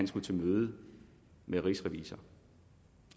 skulle til møde med rigsrevisor